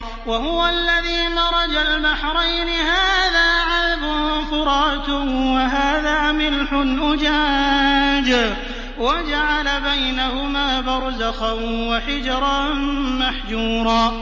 ۞ وَهُوَ الَّذِي مَرَجَ الْبَحْرَيْنِ هَٰذَا عَذْبٌ فُرَاتٌ وَهَٰذَا مِلْحٌ أُجَاجٌ وَجَعَلَ بَيْنَهُمَا بَرْزَخًا وَحِجْرًا مَّحْجُورًا